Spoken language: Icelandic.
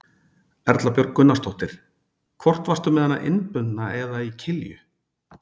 Erla Björg Gunnarsdóttir: Hvort varstu með hana innbundna eða í kilju?